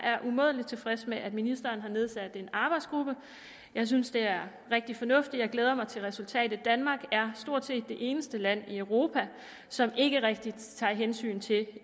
er umådelig tilfreds med at ministeren har nedsat en arbejdsgruppe jeg synes det er rigtig fornuftigt jeg glæder mig til resultatet danmark er stort set det eneste land i europa som ikke rigtig tager hensyn til